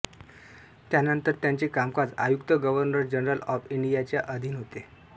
त्यानंतर त्याचे कामकाज आयुक्त गव्हर्नर जनरल ऑफ इंडियाच्या अधीन होते